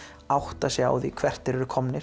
átta sig á því hvert þeir eru komnir